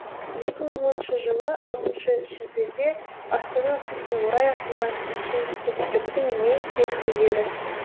екі мың оныншы жылы алтыншы шілдеде астана күніне орай ашылған кешен көпшіліктің ең сүйікті жері